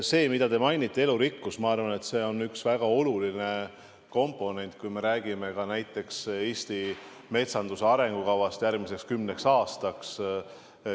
See, mida te mainite, elurikkus, ma arvan, on üks väga olulisi komponente, kui me räägime näiteks Eesti metsanduse arengukavast järgmiseks kümneks aastaks.